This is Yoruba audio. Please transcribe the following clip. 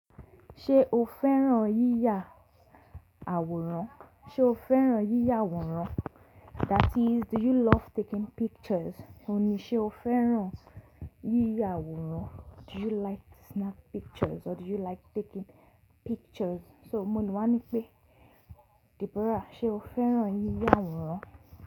Ṣé o fẹ́ràn yíyà àwòrán? Ṣé o fẹ́ràn yíyà àwòrán? That is do you love taking pictures? Òun ni ṣé o fẹ́ràn yíyà àwòrán? Do you like to snap pictures or do you like taking pictures? So mo le wá ní pé Deborah, ṣe o fẹ́ràn yíyà àwòrán?